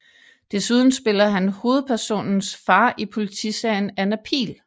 Desuden spiller han hovedpersonens far i politiserien Anna Pihl